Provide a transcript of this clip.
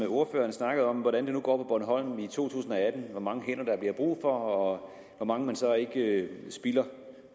ordføreren snakkede om hvordan det går på bornholm i to tusind og atten altså hvor mange hænder der bliver brug for og hvor mange man så ikke spilder